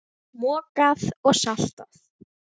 Mokað og saltað.